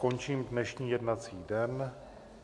Končím dnešní jednací den.